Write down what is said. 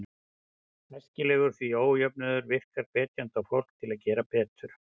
Æskilegur, því ójöfnuður virkar hvetjandi á fólk til að gera betur.